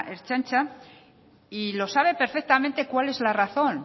ertzaintza y sabe perfectamente cuál es la razón